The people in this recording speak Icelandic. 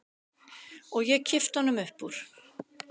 Og ég kippi honum upp úr.